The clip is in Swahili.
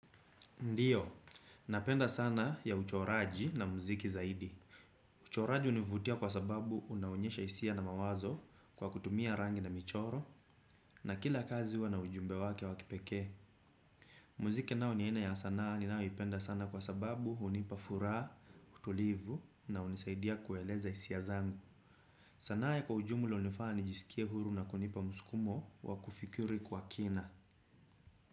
Ndiyo, napenda sanaa ya uchoraji na mziki zaidi. Uchoraji univutia kwa sababu unaonyesha isia na mawazo kwa kutumia rangi na michoro na kila kazi huwa na ujumbe wake wa kipekee. Mziki nao ni aina ya sanaa ninayo ipenda sana kwa sababu hunipa fura, utulivu na unisaidia kueleza isia zangu. Sanaa ya kwa ujumula unifanya nijisikie huru na kunipa muskumo wa kufikiri kwa kina.